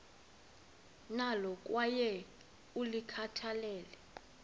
nalo kwaye ulikhathalele